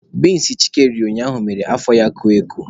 Binsi Chike riri ụnyaahụ mere afọ ya koo eko.